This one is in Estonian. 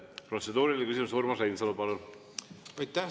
Protseduuriline küsimus, Urmas Reinsalu, palun!